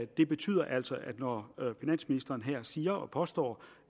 det betyder altså at når finansministeren her siger og påstår